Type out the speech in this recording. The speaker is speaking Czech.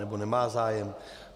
Nebo nemá zájem?